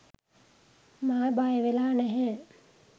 මා බයවෙලා නැහැ